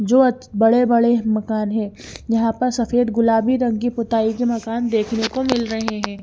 जो बड़े बड़े मकान है जहा पर सफ़ेद गुलाबी रंग की पुताई के मकान देखने को मिल रहे है।